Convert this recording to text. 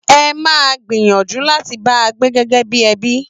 Mo máa gbìyànjú láti bá a gbé gẹ́gẹ́ bí ẹbí